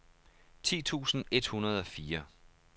ti tusind et hundrede og fire